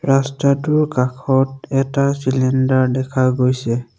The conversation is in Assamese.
ৰাস্তাটোৰ কাষত এটা চিলিণ্ডাৰ দেখা গৈছে।